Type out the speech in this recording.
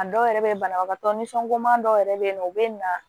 A dɔw yɛrɛ bɛ banabagatɔ nisɔngo dɔw yɛrɛ bɛ yen nɔ u bɛ na